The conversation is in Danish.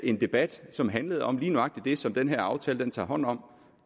en debat som handlede om lige nøjagtig det som den her aftale tager hånd om